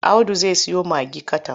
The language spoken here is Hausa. Audu zai siyo magi katan.